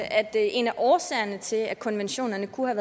at en af årsagerne til at konventionerne kunne